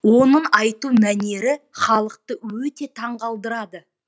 оның айту мәнері халықты өте таңғалдырады